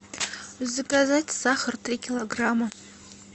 заказать сахар три килограмма